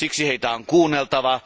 Siksi heitä on kuunneltava.